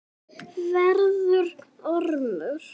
Verður ormur.